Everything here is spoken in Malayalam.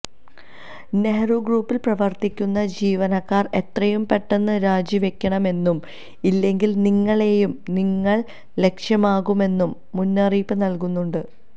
നെഹ്റു ഗ്രൂപ്പില് പ്രവര്ത്തിക്കുന്ന ജീവനക്കാര് എത്രയും പെട്ടെന്ന് രാജി വെക്കണമെന്നും ഇല്ലെങ്കില് നിങ്ങളെയും ഞങ്ങള് ലക്ഷ്യമാക്കുമെന്നും മുന്നറിയിപ്പ് നല്കുന്നുണ്ട്